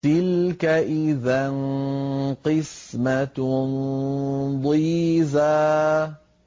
تِلْكَ إِذًا قِسْمَةٌ ضِيزَىٰ